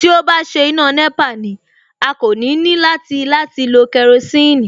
Tí ó bá ṣe iná nẹ́pà ni, a kò ní ní láti láti lo kerosiini